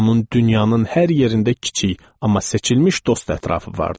Onun dünyanın hər yerində kiçik, amma seçilmiş dost ətrafı vardı.